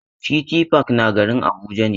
City park na garin Abuja ne.